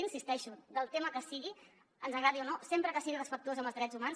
hi insisteixo del tema que sigui ens agradi o no sempre que sigui respectuós amb els drets humans